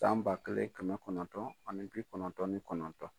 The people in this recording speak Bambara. San ba kɛlen kɛmɛ kɔnɔntɔn ani bi kɔnɔntɔn ni kɔnɔntɔn.